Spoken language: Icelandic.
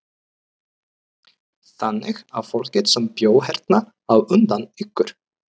Þannig að fólkið sem bjó hérna á undan ykkur.